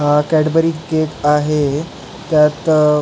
हा Cadbury cake आहे त्यात